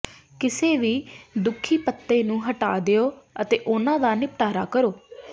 ਕਿਸੇ ਵੀ ਦੁੱਖੀ ਪੱਤੇ ਨੂੰ ਹਟਾ ਦਿਓ ਅਤੇ ਉਹਨਾਂ ਦਾ ਨਿਪਟਾਰਾ ਕਰੋ